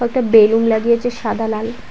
কয়েকটা বেলুন লাগিয়েছে সাদা লাল।